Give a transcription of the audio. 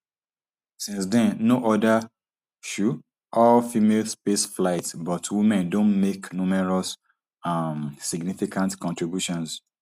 since den no oda um allfemale spaceflights but women don make numerous um significant contributions